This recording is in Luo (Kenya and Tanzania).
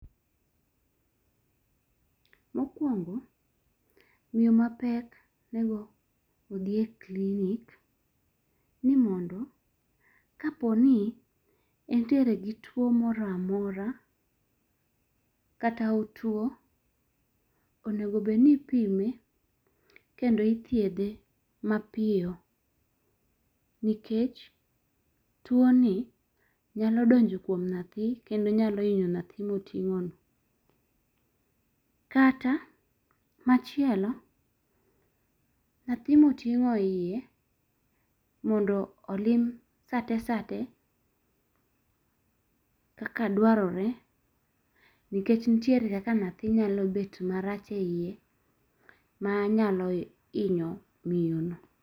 Mokwongo, miyo mapek onego odhiye clinik ni mondo kaponi entiere gi tuo moro amora kata otuo onego bed ni ipime kendo ithiedhe mapiyo nikech tuo ni nyalo donjo kuom nyathi kendo nyali hinyo nyathi moting'ono. Kata machielo, nyathi miiting'o iye mondo olim sate sate kaka dwarore nikech nitiere kaka nyathi nyalo bet marach e yie ma nyalo inyo miyo no.